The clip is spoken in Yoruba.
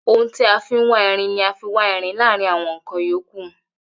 Ohun tí a fin wá irin ni a má n fi wa írín láàrín àwọn nkan yòókù